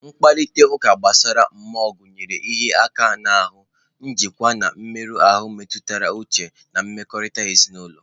Mkparịta ụka gbasara mmụọ gụnyere ịhịa aka n'ahụ, njikwa, na mmerụ ahụ mmetụta uche na mmekọrịta ezinụlọ.